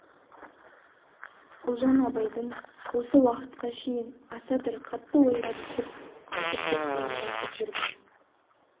ұлжан абайдың осы уақытқа шейін аса бір қатты ойға түсіп азып кеткенін байқап жүрген